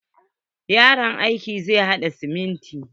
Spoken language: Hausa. Yaron aikin zai haɗa simintin.